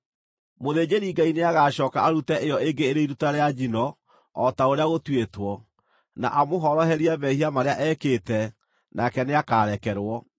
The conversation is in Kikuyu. Mũthĩnjĩri-Ngai nĩagacooka arute ĩyo ĩngĩ ĩrĩ iruta rĩa njino o ta ũrĩa gũtuĩtwo, na amũhoroherie mehia marĩa ekĩte, nake nĩakarekerwo.